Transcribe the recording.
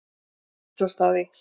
Hneykslast á því.